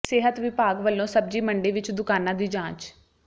ਸਿਹਤ ਵਿਭਾਗ ਵੱਲੋੋਂ ਸਬਜ਼ੀ ਮੰਡੀ ਵਿੱਚ ਦੁਕਾਨਾਂ ਦੀ ਜਾਂਚ